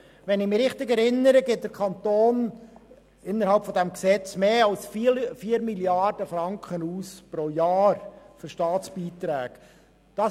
Wenn ich mich richtig erinnere, gibt der Kanton im Rahmen dieses Gesetzes mehr als 4 Mrd. Franken pro Jahr für Staatsbeiträge aus.